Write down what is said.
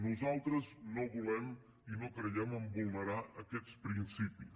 nosaltres no ho volem i no creiem en el fet de vulnerar aquests principis